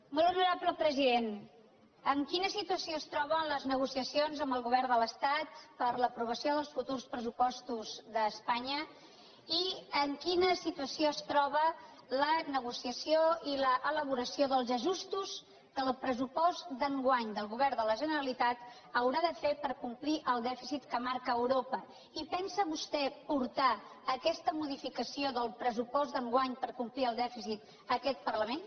molt honorable president en quina situació es troben les negociacions amb el govern de l’estat per a l’aprovació dels futurs pressupostos d’espanya i en quina situació es troben la negociació i l’elaboració dels ajustos que el pressupost d’enguany del govern de la generalitat haurà de fer per complir el dèficit que marca europa i pensa vostè portar aquesta modificació del pressupost d’enguany per complir el dèficit a aquest parlament